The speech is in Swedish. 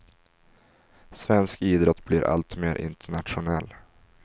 Svensk idrott blir allt mer internationell.